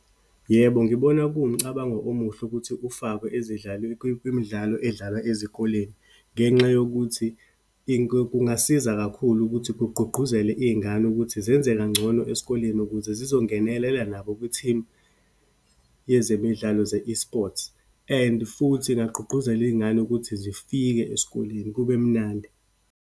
Yebo, ngibona kuwumcabango omuhle ukuthi ufakwe ezidlalwe, kwimidlalo edlalwa ezikoleni. Ngenxa yokuthi kungasiza kakhulu ukuthi kugqugquzele iyingane ukuthi zenze kangcono esikoleni ukuze zizongenelela nabo kwi-team yezemidlalo ze-esports. And futhi ingagqugquzela iyingane ukuthi zifike esikoleni, kube mnandi.